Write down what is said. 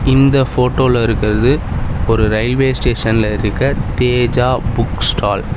இந்த ஃபோட்டோல இருக்கிறது ஒரு ரயில்வே ஸ்டேஷன்ல இருக்க தேஜா புக் ஸ்டால் .